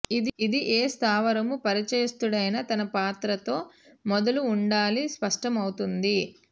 ఇది ఏ స్థావరము పరిచయస్తుడైన తన పాత్ర తో మొదలు ఉండాలి స్పష్టమవుతుంది